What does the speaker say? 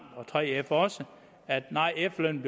og 3f også at efterlønnen